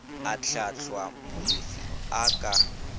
a hlahlwa molefi a ka